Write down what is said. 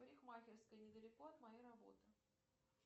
парикмахерская недалеко от моей работы